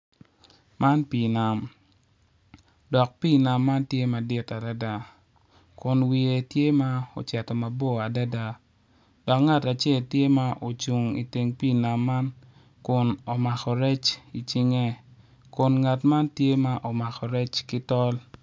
Man pii nam dok pi nam man tye madit adada kun wiye tye ma ocito mabor adada dok ngat acel tye ma ocung i teng pii nam man kun omako rec i cinge kun ngat man tye ma omako rec ki tol.